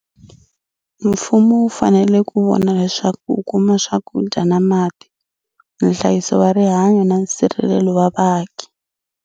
Mfumo wu fanele ku vona leswaku u kuma swakudya na mati, Nhlayiso wa Rihanyo na nsirhelelo wa vaaki.